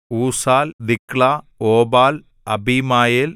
ഊസാൽ Diklah Obal Abimael